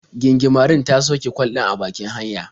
Gingimarin ta sauke kwal ɗin a bakin hanya.